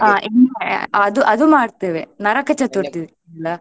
ಆಹ್ ಎನ್ ಆ ಅದು ಅದು ಮಾಡ್ತೇವೆ ನರಕ ಚತುರ್ಥಿ ದಿನ.